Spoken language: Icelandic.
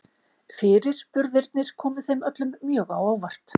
Fyrirburðirnir komu þeim öllum mjög á óvart.